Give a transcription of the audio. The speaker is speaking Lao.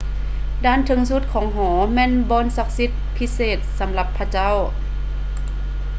ດ້ານເທິງສຸດຂອງຫໍແມ່ນບ່ອນສັກສິດພິເສດສຳລັບພະເຈົ້າ